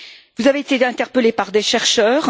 Vous avez été interpellé par des chercheurs.